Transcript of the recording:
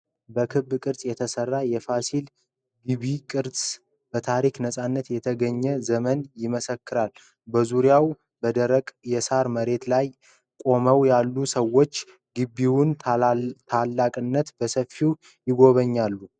ከክብ ቅርጽ የተሰራው የፋሲል ግቢ ቅርስ፣ በታሪክ ነፃነት የተገኘበትን ዘመን ይመሰክራል። በዙሪያው በደረቅ የሳር መሬት ላይ ቆመው ያሉት ሰዎች የግቢውን ታላቅነት በሰፊው ይጎበኛሉ።